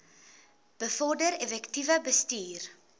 bevorder effektiewe bestuur